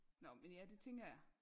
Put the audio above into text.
Nåh men ja det tænker jeg